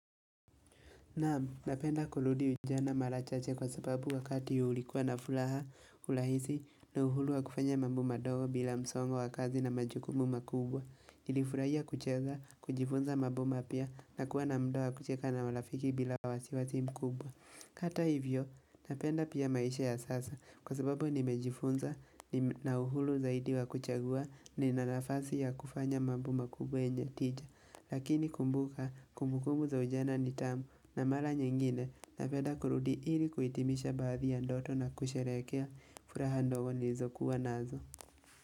Naam, napenda kurudi ujana marachache kwa sababu wakati ulikuwa na furaha urahisi na uhuru wa kufanya mambo madogo bila msongo wa kazi na majukumu makubwa. niJilifurahia kucheza, kujifunza mambo mapya na kuwa na muda wa kucheka na marafiki bila wasiwasi mkubwa. Hata hivyo, napenda pia maisha ya sasa kwa sababu nimejifunza na uhuru zaidi wa kuchagua ni nanafasi ya kufanya mambo makubwa yenye tija. Lakini kumbuka kumbukumbu za ujana ni tamu na mara nyingine napenda kurudi ili kuhitimisha baadhi ya ndoto na kusherehekea furaha ndogo nilizokuwa nazo.